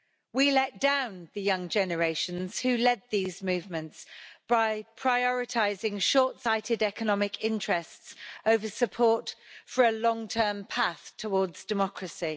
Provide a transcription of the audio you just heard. We let down the young generations who led these movements by prioritising shortsighted economic interests over support for a long-term path towards democracy.